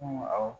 awɔ